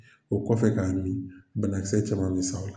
O kɔfɛ k'a mi banakisɛ caman bɛ sa o la.